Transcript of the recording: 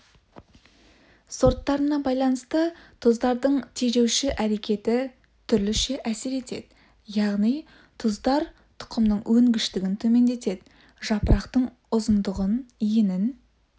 сорттарына байланысты тұздардың тежеуші әрекеті түрліше әсер етеді яғни тұздар тұқымның өнгіштігін төмендетеді жапырақтың ұзындығын енін